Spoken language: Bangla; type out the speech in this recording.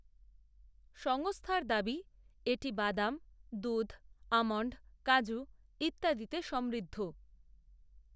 সংস্থার দাবি, এটি বাদাম, দুধ, অ্যামণ্ড, কাজু, ইত্যাদিতে সমৃদ্ধ